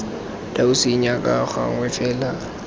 dau senya ka gangwe fela